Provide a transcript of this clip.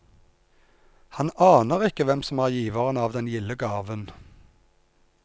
Han aner ikke hvem som er giveren av den gilde gaven.